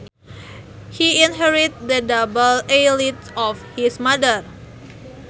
He inherited the double eyelids of his mother